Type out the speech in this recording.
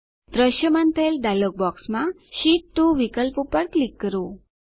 દ્રશ્યમાન થયેલ ડાયલોગ બોક્સમાં શીટ 2 વિકલ્પ પર ક્લિક કરો